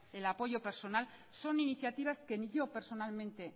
el apoyo personal son iniciativas que ni yo personalmente